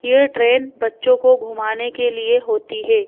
ये ट्रेन बच्चों को घुमाने के लिए होती है।